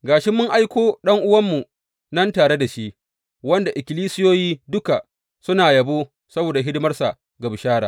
Ga shi mun aiko ɗan’uwanmu nan tare da shi, wanda ikkilisiyoyi duka suna yabo saboda hidimarsa ga bishara.